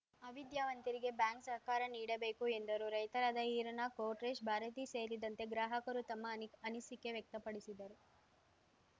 ಅವಿದ್ಯಾವಂತರಿಗೆ bank ಸಹಕಾರ ನೀಡಬೇಕು ಎಂದರು ರೈತರಾದ ಈರಣ್ಣ ಕೊಟ್ರೇಶ್‌ ಭಾರತಿ ಸೇರಿದಂತೆ ಗ್ರಾಹಕರು ತಮ್ಮಅನಿ ಅನಿಸಿಕೆ ವ್ಯಕ್ತಪಡಿಸಿದರು